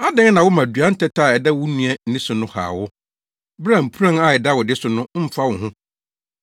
“Adɛn na woma dua ntɛtɛ a ɛda wo nua ani so no haw wo, bere a mpuran a ɛda wo de so no mfa wo ho?